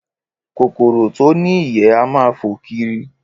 Kòkòrò tó ní ìyẹ́ á máa fò kiri